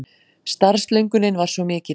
Starfslöngunin var svo mikil.